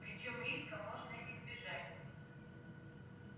причём риска можно избежать